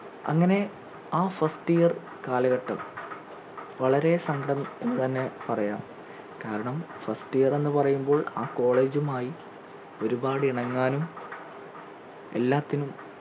അങ്ങനെ ആ first year കാലഘട്ടം വളരെ സങ്കടം എന്ന് തന്നെ പറയാം കാരണം first year എന്ന് പറയുമ്പോൾ ആ college മായി ഒരുപാട് ഇണങ്ങാനും എല്ലാത്തിനും